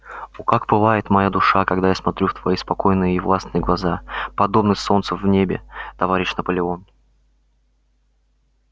о как пылает моя душа когда я смотрю в твои спокойные и властные глаза подобные солнцу в небе товарищ наполеон